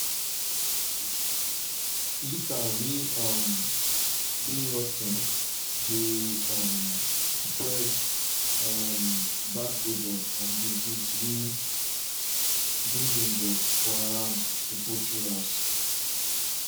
litter way um dey rot ten dey um spread um bad odour and disease way dey dangerous for around the poultry house.